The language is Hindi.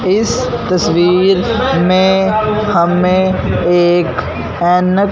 इस तस्वीर में हमें एक ऐनक--